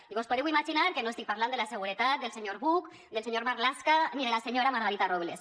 i vos podeu imaginar que no estic parlant de la seguretat del senyor buch del senyor marlaska ni de la senyora margarita robles